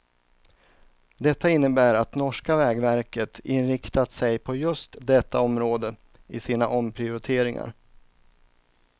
Detta innebär att norska vägverket inriktat sig på just detta område i sina omprioriteringar.